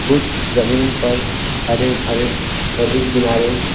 कुछ जमीन पर हरे भरे नदी किनारे --